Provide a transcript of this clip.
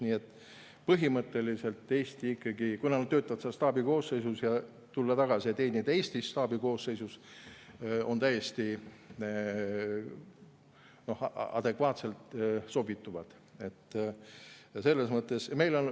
Nii et põhimõtteliselt, kui nad töötavad seal staabi koosseisus ja tulevad tagasi, et teenida staabi koosseisus Eestis, siis nad sobituvad täiesti adekvaatselt.